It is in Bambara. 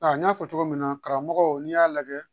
n y'a fɔ cogo min na karamɔgɔ n'i y'a lajɛ